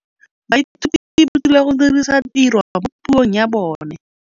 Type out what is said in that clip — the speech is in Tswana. Baithuti ba rutilwe go dirisa tirwa mo puong ya bone.